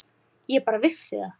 Ég bara vissi það.